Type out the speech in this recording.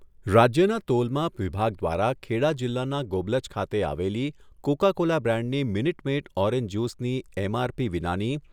રાજ્યના તોલમાપ વિભાગ દ્વારા ખેડા જિલ્લાના ગોબલજ ખાતે આવલી કોકા કોલા બ્રાન્ડની "મીનટ મેડ ઓરેન્જ જ્યુસ"ની એમઆરપી વિનાની